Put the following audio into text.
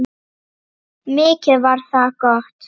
Mikið var það gott.